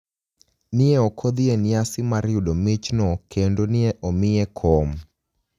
ni e ok odhi e niyasi mar yudo michno kenido ni e omiye kom.